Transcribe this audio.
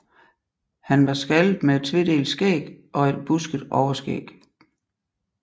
Han var skaldet med et tvedelt skæg og et busket overskæg